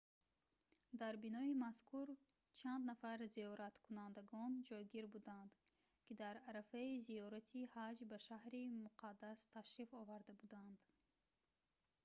дар бинои мазкур чанд нафар зиёраткунандагон ҷойгир буданд ки дар арафаи зиёрати ҳаҷ ба шаҳри муқаддас ташриф оварда буданд